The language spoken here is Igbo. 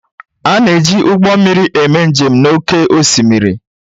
A na-eji ụgbọ mmiri eme njem n'oké osimiri